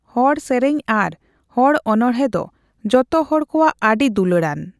ᱦᱚᱲᱥᱮᱨᱮᱧ ᱟᱨ ᱦᱚᱲ ᱚᱱᱚᱬᱦᱮᱸ ᱫᱚ ᱡᱚᱛᱚ ᱦᱚᱲ ᱠᱚᱣᱟᱜ ᱟᱹᱰᱤ ᱫᱩᱞᱟᱹᱲᱟᱱ ᱾